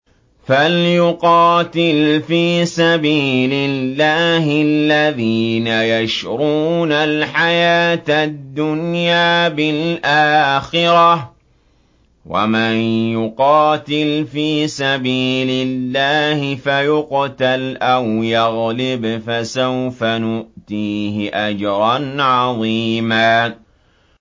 ۞ فَلْيُقَاتِلْ فِي سَبِيلِ اللَّهِ الَّذِينَ يَشْرُونَ الْحَيَاةَ الدُّنْيَا بِالْآخِرَةِ ۚ وَمَن يُقَاتِلْ فِي سَبِيلِ اللَّهِ فَيُقْتَلْ أَوْ يَغْلِبْ فَسَوْفَ نُؤْتِيهِ أَجْرًا عَظِيمًا